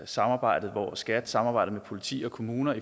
samarbejdet hvor skat samarbejder med politi og kommuner